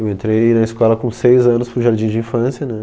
Eu entrei na escola com seis anos para o Jardim de Infância né